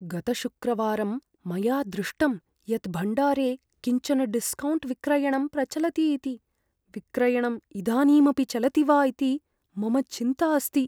गतशुक्रवारं मया दृष्टम् यत् भण्डारे किञ्चन डिस्कौण्ट् विक्रयणं प्रचलति इति, विक्रयणं इदानीमपि चलति वा इति मम चिन्ता अस्ति।